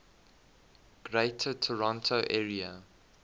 greater toronto area